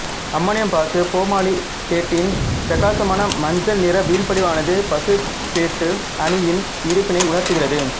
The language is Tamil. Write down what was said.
அம்மோனியம் பாசுபோமாலிப்டேட்டின் பிரகாசமான மஞ்சள் நிற வீழ்படிவானது பாசுபேட்டு அயனியின் இருப்பினை உணர்த்துகிறது